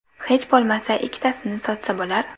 Hech bo‘lmasa ikkitasini sotsa bo‘lar?